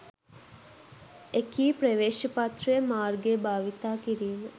එකී ප්‍රවේශපත්‍රය මාර්ගය භාවිතා කිරීම